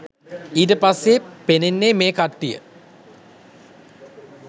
ඊට පස්සෙ පෙන්නන්‍නේ මේ කට්ටිය